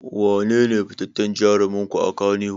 Wanene fitaccen jarumin ku a Kannywood?